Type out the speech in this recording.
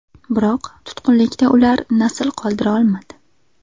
Biroq tutqunlikda ular nasl qoldira olmadi.